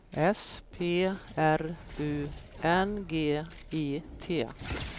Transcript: S P R U N G I T